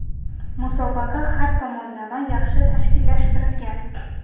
Musobaqa har tomonlama yaxshi tashkillashtirilgan.